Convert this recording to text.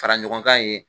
Fara ɲɔgɔn kan ye